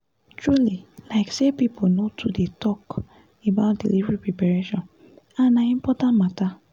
truly like say people no too dey talk about delivery preparation and na important matter